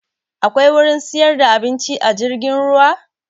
Akwai wurin siyar da abinci a jirgin ruwa?